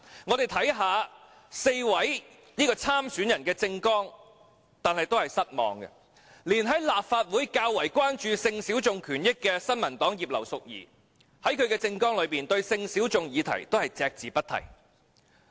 我們看到4位參選人的政綱，也感到失望，連在立法會較為關注性小眾權益的新民黨葉劉淑儀議員，其政綱對性小眾議題也隻字不提。